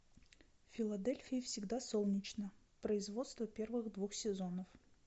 в филадельфии всегда солнечно производство первых двух сезонов